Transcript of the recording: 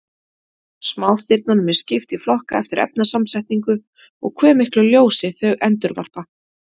Smástirnunum er skipt í flokka eftir efnasamsetningu og hve miklu ljósi þau endurvarpa.